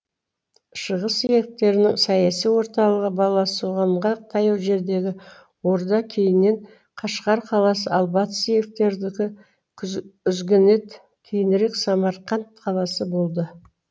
шығыс иеліктердің саяси орталығы баласағұнға таяу жердегі орда кейіннен қашқар қаласы ал батыс иеліктердікі үзгінет кейінірек самарқанд қаласы болды